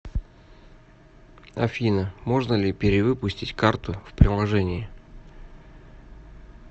афина можно ли перевыпустить карту в приложении